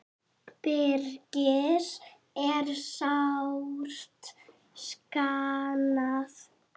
Birgis er sárt saknað.